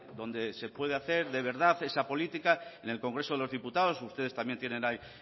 donde se puede hacer de verdad esa política en el congreso de los diputados ustedes también tienen ahí